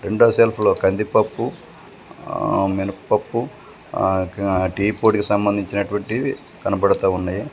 కింద సెల్ఫ్ లో కందిపప్పు ఆ మినపప్పు ఆ టీ పొడి కి సంబంధించినటువంటి కనబడుతా ఉన్నాయి.